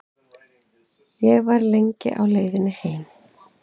Ég var lengi á leiðinni heim.